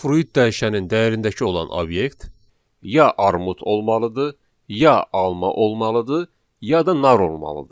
fruit dəyişənin dəyərindəki olan obyekt ya armud olmalıdır, ya alma olmalıdır, ya da nar olmalıdır.